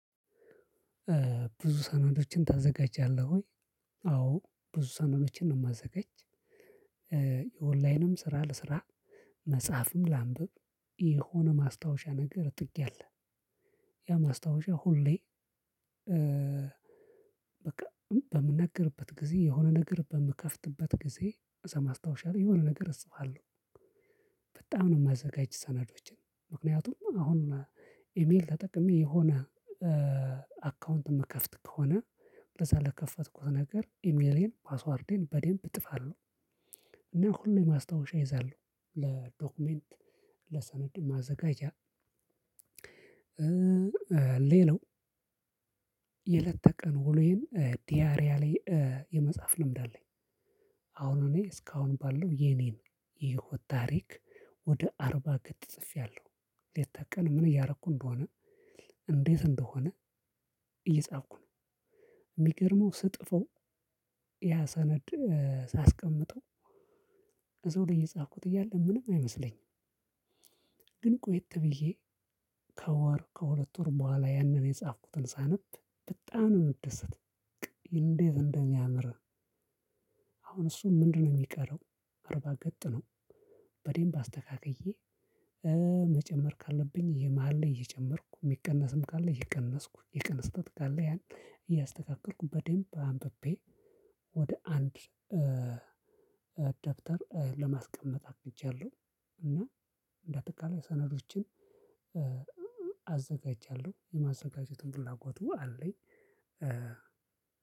ብዙ ሰነዶችን ታዘጋጃለህ ወይ? አዎ ብዙ ሰነዶችን ነው ማዘጋጅ። የኦንላይንም ስራ ለስራ መጽሐፍም ላንብብ የሆነ ማስታወሻ ነገር ጥጊ ያለ ያ ማስታወሻ ሁሌ። በቃ በምናገርበት ጊዜ የሆነ ነገር በምከፍትበት ጊዜ እዛ ማስታወሻ ላይ የሆነ ነገር እፅፋለው። በጣም ነው ማዘጋጅ ሰነዶችን። ምክንያቱም አሁን ኢሜል ተጠቅሜ የሆነ አካውንት ምከፍት ከሆነ በዛ ለከፈትኩት ነገር ኢሜሌን ፓስዋርዴን በዴምፕ እጥፋለሁ። ግን ሁሌ ማስታወሻ እይዛለሁ ለዶክሜንት ለሰነድ ማዘጋጃ። ሌላው የለተቀን ውሎዬን ዲያሪያሌ የመጽሐፍ ልምድ አለኝ። አሁን እኔ እስካሁን ባለው የኔን የህይወት ታሪክ ወደ አርባ ገጥ ጽፌያለሁ። ሌት ተቀን ምን እያረኩ እንደሆነ እንዴት እንደሆነ እየጻፍኩ ነው። ሚገርመው ስጥፈው ያሰነድ ሳስቀምጠው እዛው ላይ የጻፍኩት እያለ ምንም አይመስለኝም። ግን ቆየት ብዬ ከወር ከሁለት ወር በኋላ ያንን የጻፍኩትን ሳነብ በጣም ነው ምደሰት። እንዴት እንደሚያምር። አሁን እሱ ምንድነው ሚቀረው? አርባ ገጥ ነው። በዴም አስተካክዬ መጨመር ካለብኝ የመሃል ላይ እየጨመርኩ ሚቀነስም ካለ እየቀነስኩ የቀን ስህተት ካለ ያን እያስተካከልኩ በደንብ አንብቤ ወደ አንድ ደብተር ለማስቀመጥ አቅጃለሁ። እና ባጠቃላይ ሰነዶችን አዘጋጃለሁ የማዘጋጀትም ፍላጎቱ አለኝ።